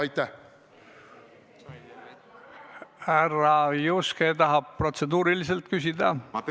Kas härra Juske tahab protseduuriliselt küsida?